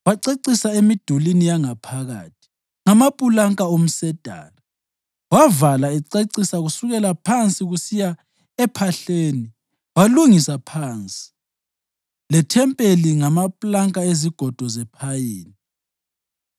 Wacecisa emidulini yangaphakathi ngamapulanka omsedari, wavala ececisa kusukela phansi kusiya ephahleni, walungisa iphansi lethempeli ngamapulanka ezigodo zephayini.